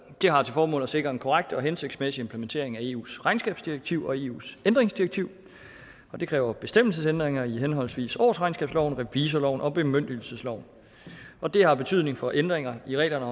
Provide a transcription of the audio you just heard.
har til formål at sikre en korrekt og hensigtsmæssig implementering af eus regnskabsdirektiv og eus ændringsdirektiv og det kræver bestemmelsesændringer i henholdsvis årsregnskabsloven revisorloven og bemyndigelsesloven og det har betydning for ændringer i reglerne